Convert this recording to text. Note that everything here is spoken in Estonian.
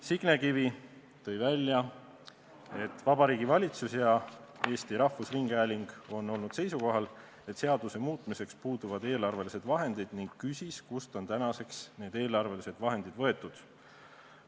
Signe Kivi tõi välja, et Vabariigi Valitsus ja Eesti Rahvusringhääling on olnud seisukohal, et seaduse muutmiseks puuduvad eelarvelised vahendid, ning küsis, kust on tänaseks need eelarvelised vahendid võetud.